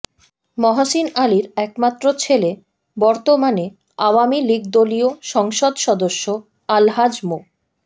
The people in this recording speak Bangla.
মহসীন আলীর একমাত্র ছেলে বর্তমানে আওয়ামী লীগদলীয় সংসদ সদস্য আলহাজ মো